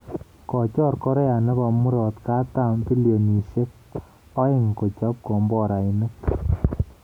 Kochor Korea nebo murotkatam bilionisyek aeng kochob komborainik